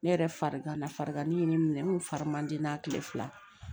Ne yɛrɛ farigan na fariganin ye n minɛ n ko fari man di n na kile fila